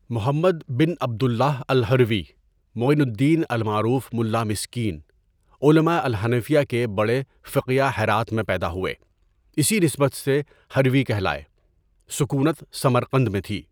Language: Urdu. محمد بن عبد اللہ الہروی، معين الدين المعروف ملّا مسكين، علما الحنفیہ کے بڑے فقیہ ہرات میں پیدا ہوئے اسی نسبت سے ہروی کہلاتے ہیں، سکونت سمرقند میں تھی.